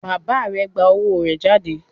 Bàbá rẹ gbà owó rẹ jáde?